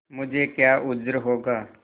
मुझे क्या उज्र होगा